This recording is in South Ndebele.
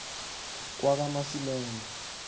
kwakamasilela